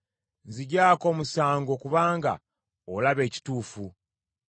Nzigyako omusango; kubanga olaba ekituufu.